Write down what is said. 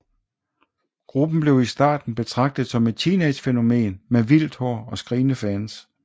Gruppen blev i starten betragtet som et teenagefænomen med vildt hår og skrigende fans